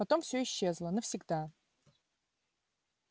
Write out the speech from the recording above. потом всё исчезло навсегда